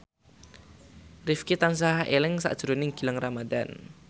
Rifqi tansah eling sakjroning Gilang Ramadan